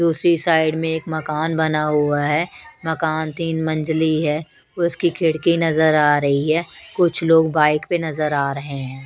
दूसरी साइड में एक मकान बना हुआ है मकान तीन मंजली है उसकी खिड़की नजर आ रही है कुछ लोग बाइक पे नजर आ रहे हैं।